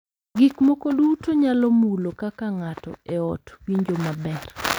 Gik moko duto nyalo mulo kaka ng’ato e ot winjo maber